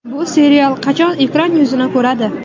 Bu serial qachon ekran yuzini ko‘radi?